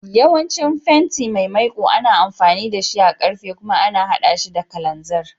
Yawancin fenti mai maiƙu ana amfani da shi a karfe kuma ana haɗa shi da kalanziri.